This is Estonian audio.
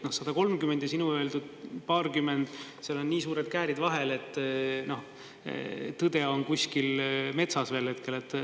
130 ja sinu öeldud paarkümmend, seal on nii suured käärid vahel, et tõde on kuskil metsas veel hetkel.